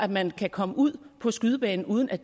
man kan komme ud på skydebanen uden at